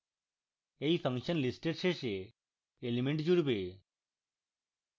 এই function list এর শেষে element জুড়বে